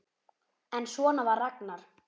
En svona var Ragnar.